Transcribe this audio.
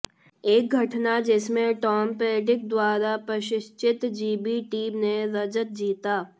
एक घटना जिसमें टॉम पेंड्रिघ द्वारा प्रशिक्षित जीबी टीम ने रजत जीता